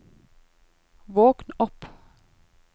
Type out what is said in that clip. våkn opp